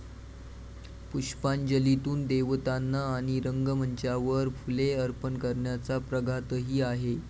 पुष्पांजलीतून देवतांना आणि रंगमंचावर फुले अर्पण करण्याचा प्रघातही आहे.